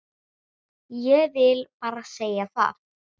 Ég vil bara segja það.